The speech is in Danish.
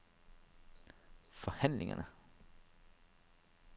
forhandlingerne